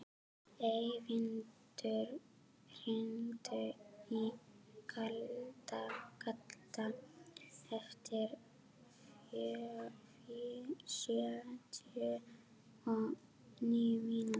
Eyvindur, hringdu í Kalda eftir sjötíu og níu mínútur.